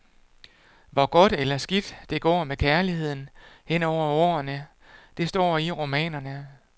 Hvor godt eller skidt det går med kærligheden hen over årene, det står i romanerne.